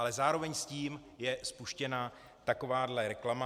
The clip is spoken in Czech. Ale zároveň s tím je spuštěna takováto reklama.